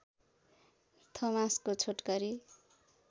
थोमासको छोटकरी